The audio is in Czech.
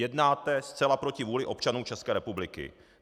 Jednáte zcela proti vůli občanů České republiky.